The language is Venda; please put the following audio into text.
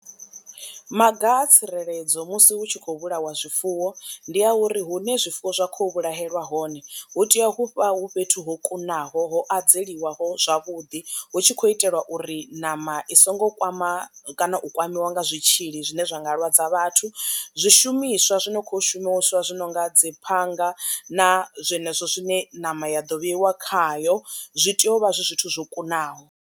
Maga a tsireledzo musi hu tshi khou vhulawa zwifuwo ndi a uri hune zwifuwo zwa kho vhulahelwa hone hu tea uvha hu fhethu ho kunaho ho adzeliwaho zwavhuḓi, hu tshi kho itelwa uri ṋama i songo kwama kana u kwamiwa nga zwitzhili zwine zwa nga lwadza vhathu. Zwishumiswa zwi no kho u shumiswa zwi nonga dzi phanga na zwenezwo zwine ṋama ya ḓo vheiwa khayo zwi tea uvha zwi zwithu zwo kunaho.